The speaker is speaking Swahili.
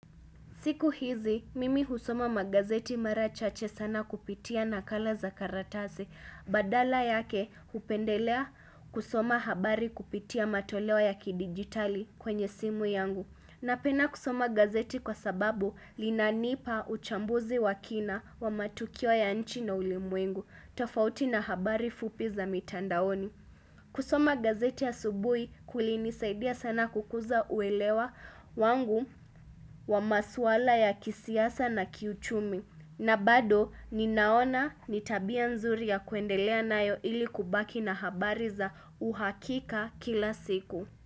Siku hizi, mimi husoma magazeti mara chache sana kupitia nakala za karatase, badala yake hupendelea kusoma habari kupitia matoleo ya ki-digitali kwenye simu yangu. Napena kusoma gazeti kwa sababu linanipa uchambuzi wa kina wa matukio ya nchi na ulimwengu, tofauti na habari fupi za mitandaoni. Kusoma gazeti asubui kulinisaidia sana kukuza uelewa wangu wa maswala ya kisiasa na kiuchumi. Na bado ninaona ni tabia nzuri ya kuendelea nayo ili kubaki na habari za uhakika kila siku.